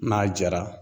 N'a jara